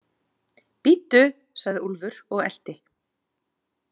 Bíddu, sagði Úlfur og elti.